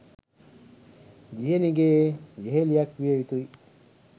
දියණියගේ යෙහෙළියක් විය යුතුයි